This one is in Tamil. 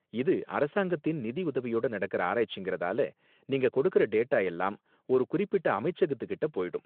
இது அரசாங்கத்தின் நிதியுதவியோட நடக்கற ஆராய்ச்சிங்கறதால, நீங்க கொடுக்கற டேட்டா எல்லாம் ஒரு குறிப்பிட்ட அமைச்சகத்துகிட்ட போயிடும்.